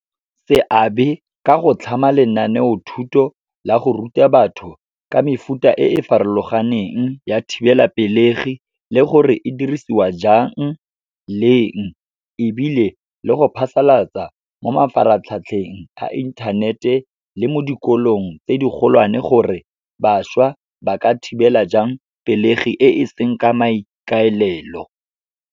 Seabe ka go tlhama lenaneo thuto la go ruta batho ka mefuta e e farologaneng ya thibelapelegi le gore e dirisiwa jang, leng. Ebile le go phasalatsa mo mafaratlhatlheng a inthanete le mo dikolong tse di golwane, gore bašwa ba ka thibela jang pelegi e seng ka maikaelelo.